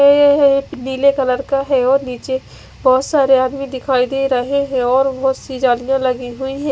नील colour का है और निचे बहोत सारे आदमी दिखाई दे रहे है और बहोत सी जलीया लगी हुई है।